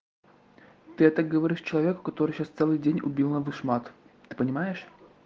ты это говоришь человеку который сейчас целый день убирал на вышмат ты понимаешь